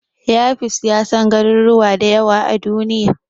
Yafiz ya san garuruwa da yawa a Duniya.